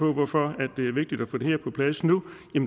hvorfor det er vigtigt at få det her på plads nu